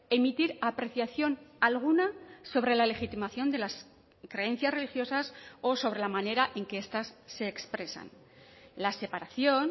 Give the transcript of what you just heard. emitir apreciación alguna sobre la legitimación de las creencias religiosas o sobre la manera en que estas se expresan la separación